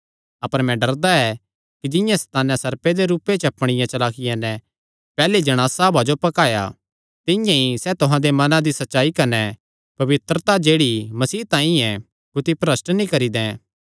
अपर मैं डरदा ऐ कि जिंआं सैताने सर्पे दे रूपे च अपणिया चलाकिया नैं पैहल्ली जणासा हव्वा जो भकाया तिंआं ई सैह़ तुहां दे मनां दी सच्चाई कने पवित्रता जेह्ड़ी मसीह तांई ऐ कुत्थी भरष्ठ नीं करी दैं